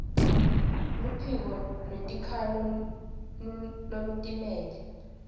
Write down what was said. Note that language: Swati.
luphiko lwetikhalo lolutimele